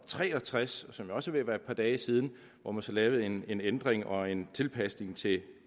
tre og tres som jo også er ved at være et par dage siden hvor man så lavede en en ændring og en tilpasning til